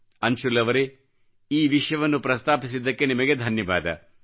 ಅನ್ಶುಲ್ ಅವರೇ ಈ ವಿಷಯವನ್ನು ಪ್ರಸ್ತಾಪಿಸಿದ್ದಕ್ಕೆ ನಿಮಗೆ ಧನ್ಯವಾದ